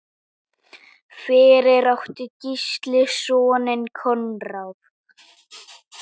Fyrir átti Gísli soninn Konráð.